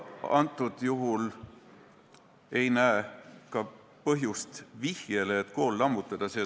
Antud juhul ei näe ka põhjust selleks, et kool lammutada.